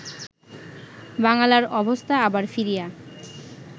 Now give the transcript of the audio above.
বাঙ্গালার অবস্থা আবার ফিরিয়া